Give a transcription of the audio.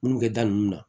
Munnu kɛ da nunnu na